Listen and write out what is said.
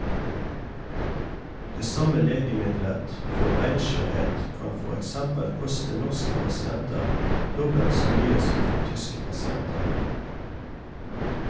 Det samme legemiddelet for benskjørhet kan for eksempel koste norske pasienter dobbelt så mye som for tyske pasienter.